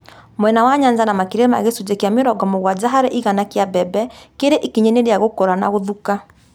Mwena wa Nyanza makĩria ma gĩcunjĩ kĩa mĩrongo mũgwanja harĩ igana kĩa mbembe kĩrĩ ikinya-inĩ rĩa gũkũra na gũthuka